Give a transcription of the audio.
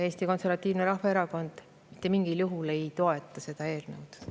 Eesti Konservatiivne Rahvaerakond mitte mingil juhul ei toeta seda eelnõu.